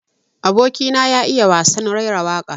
Aboki na ya iya wasan raira waƙa.